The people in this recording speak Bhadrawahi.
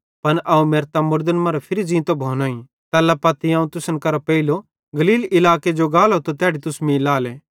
पन अवं मेरतां मुड़दन मरां फिरी ज़ींतो भोनोईं तैल्ला पत्ती अवं तुसन केरां पेइले गलील इलाके जो गालो त तैड़ी तुस मीं लाएले